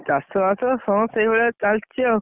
ଚାଷ ବାସ ହଁ, ସେଇଭଳିଆ ଚାଲିଛି ଆଉ।